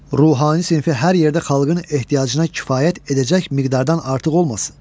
Ruhani sinfi hər yerdə xalqın ehtiyacına kifayət edəcək miqdardan artıq olmasın.